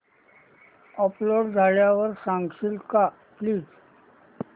upload झाल्यावर सांगशील का प्लीज